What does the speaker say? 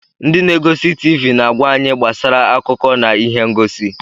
Ndị na-egosi TiiVi na-agwa anyị gbasara akụkọ na ihe ngosi.